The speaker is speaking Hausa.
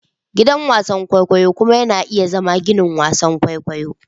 Gidan wasan kwaikwayo kuma yana iya zama ginin wasan kwaikwayo.